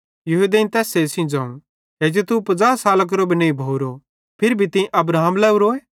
यहूदेईं तैस्से सेइं ज़ोवं हेजू तू 50 साला केरो भी नईं भोरो फिरी भी तीं अब्राहम लोरोए